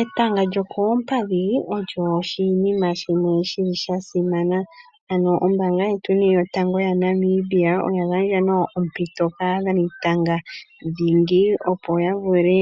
Etanga lyokoompadhi olyo oshinima shimwe shi li sha simana. Ano ombaanga yetweni yotango yaNamibia oya gandja nayo ompito kaadhanitanga dhingi, opo ya vule